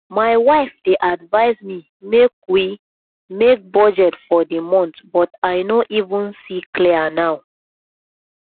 my wife dey advice me make we make budget for the month but i no even see clear now